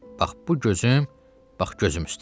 Bax bu gözüm, bax gözüm üstə.